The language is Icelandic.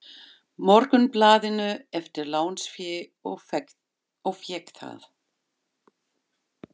Morgunblaðinu eftir lánsfé og fékk það.